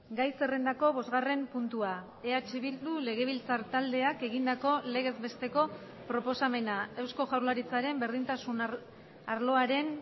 gai zerrendako bosgarren puntua eh bildu legebiltzar taldeak egindako legez besteko proposamena eusko jaurlaritzaren berdintasun arloaren